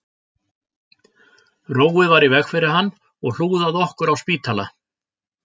Róið var í veg fyrir hann og hlúð að okkur á spítala